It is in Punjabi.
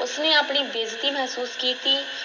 ਉਸ ਨੇ ਆਪਣੀ ਬੇਇੱਜ਼ਤੀ ਮਹਿਸੂਸ ਕੀਤੀ,